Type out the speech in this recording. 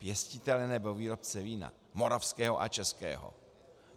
Pěstitele nebo výrobce vína moravského a českého.